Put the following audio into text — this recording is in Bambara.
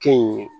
Kɛ in ye